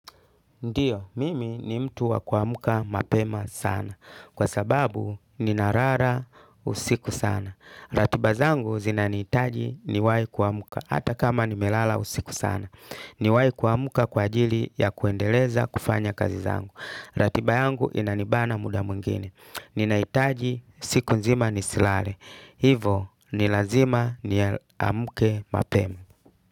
Ndiyo, mimi ni mtu wa kuamuka mapema sana kwa sababu ni narara usiku sana. Ratiba zangu zinaniitaji ni wahi kuamuka hata kama ni melala usiku sana. Ni wahi kuamuka kwa ajili ya kuendeleza kufanya kazi zangu. Ratiba yangu inanibana muda mwingine. Ninaitaji siku nzima nisilare. Hivo ni lazima ni amuke mapema.